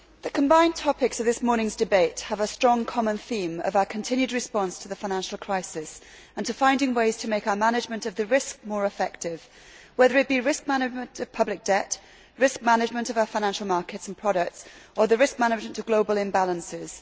Mr President, the combined topics of this morning's debate have a strong common theme of our continued response to the financial crisis and to finding ways to make our management of the risk more effective, whether it be risk management of public debt, risk management of our financial markets and products, or the risk management of global imbalances.